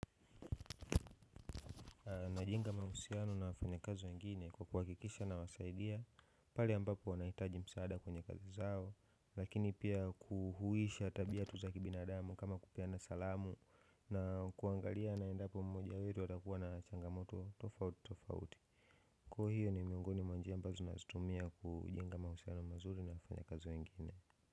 Na jenga mahusiano na wafanya kazi wengine kwa kuhakikisha na wasaidia pale ambapo wanahitaji msaada kwenye kazi zao lakini pia kuhusisha tabia tu za kibinadamu kama kupeana salamu na kuangaliana endapo mmoja wetu atakuwa na changamoto tofauti tofauti kwa hiyo ni miongoni mwa njia ambazo nazitumia kujenga mahusiano mazuri na wafanyikazi wengine.